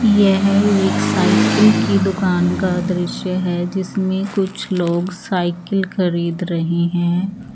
यह एक साइकिल की दूकान का दृश्य है जिसमें कुछ लोग साइकिल खरीद रहे हैं।